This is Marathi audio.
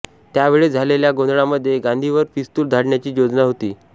त्या वेळेस झालेल्या गोंधळामध्ये गांधींवर पिस्तूल झाडण्याची योजना होती